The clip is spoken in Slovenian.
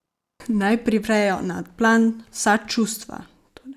Naj privrejo na plan vsa čustva!